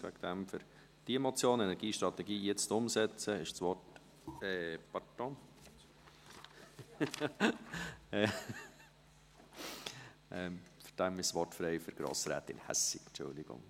Deshalb für diese Motion «Energiestrategie jetzt umsetzen!» ist das Wort … Entschuldigung.